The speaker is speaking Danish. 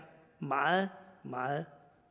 meget meget